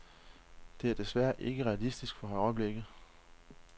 Det er desværre ikke realistisk for øjeblikket.